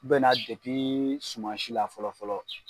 bɛ na depi sumansi la fɔlɔ fɔlɔ.